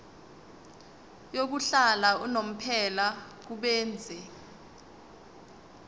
yokuhlala unomphela kubenzi